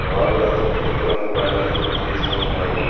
వాగులో తెలుపు రంగు బండలు కనిపిస్తూ ఉన్నాయి.